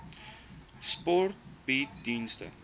sport bied dienste